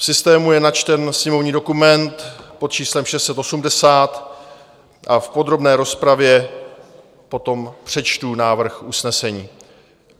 V systému je načten sněmovní dokument pod číslem 680 a v podrobné rozpravě potom přečtu návrh usnesení.